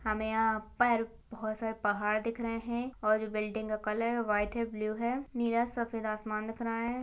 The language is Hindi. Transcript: हमें यहाँ पर बहुत सारे पहाड़ दिख रहे है और जो बिल्डिंग का कलर वाइट है ब्लू है नीला सफेद आसमान दिख रहा है।